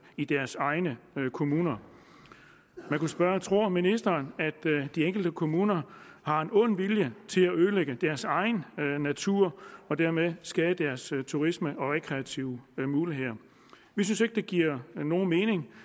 i deres egne kommuner man kunne spørge tror ministeren at de enkelte kommuner har en ond vilje i til at ødelægge deres egen natur og dermed skade deres turisme og deres rekreative muligheder vi synes ikke det giver nogen mening